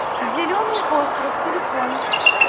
зеленый остров телефон